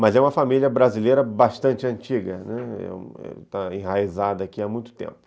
Mas é uma família brasileira bastante antiga, né, está enraizada aqui há muito tempo.